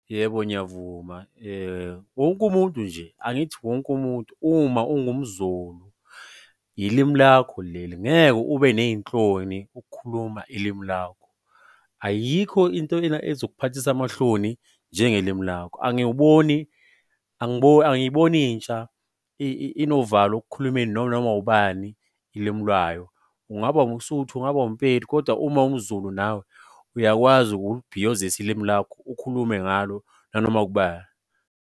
Yebo, ngiyavuma. Wonke umuntu nje, angithi wonke umuntu uma ungumZulu ilimi lakho leli, ngeke ube ney'nhloni ukukhuluma ilimi lakho. Ayikho into ena ezokuphathisa amahloni njengelimi lakho. Angiyiboni intsha inovalo ekukhulumeni noma ubani ilimi lwayo. Ungaba umSotho ungaba umPedi, kodwa uma uwumZulu nawe, uyakwazi ukulibhiyozisa ilimi lakho, ukhulume ngalo nanoma kuba.